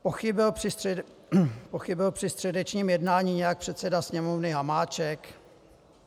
Pochybil při středečním jednání nějak předseda Sněmovny Hamáček?